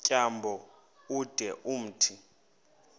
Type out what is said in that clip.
tyambo ude umthi